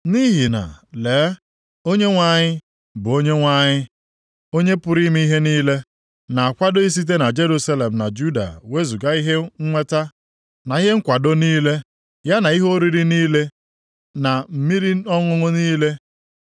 Nʼihi na, lee, Onyenwe anyị, bụ Onyenwe anyị, Onye pụrụ ime ihe niile, na-akwado isite na Jerusalem na Juda wezuga ihe nnweta na ihe nkwado niile, ya na ihe oriri niile na mmiri ọṅụṅụ niile.